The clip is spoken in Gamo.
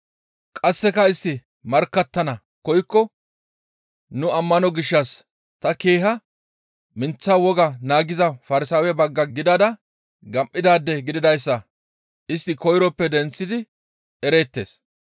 Qasseka istti markkattana koykko nu ammano gishshas ta keeha minththa wogaa naagiza Farsaawe bagga gidada gam7idaade gididayssa istti koyroppe denththidi ereettes.